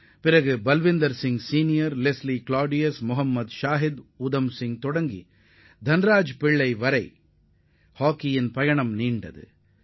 மேலும் Balbir Singh senior Leslie Claudius Mohammed Shahid Uttam Singh முதல் தன்ராஜ்பிள்ளை வரை இந்திய ஹாக்கி நீண்ட நெடிய பாரம்பரியத்தைக் கொண்டதாகும்